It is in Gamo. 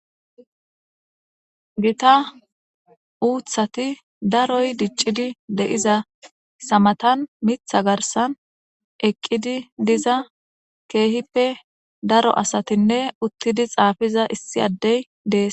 Gita uthati daroy dicidi de'izaysa matan mitha garsan eqidi diza kehippe daro asatinne uttidi xaafiza issi addey dees.